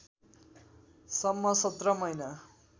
सम्म १७ महिना